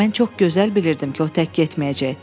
Mən çox gözəl bilirdim ki, o tək getməyəcək.